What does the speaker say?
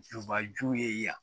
Juba ju ye yan